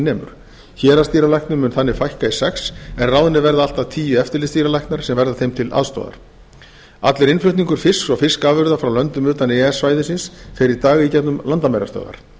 nemur héraðsdýralæknum mun þannig fækka í sex en ráðnir verða allt að tíu eftirlitsdýralæknar sem verða þeim til aðstoðar allur innflutningur fisks og fiskafurða frá löndum utan e e s svæðisins fer í dag í gegnum landamærastöðvar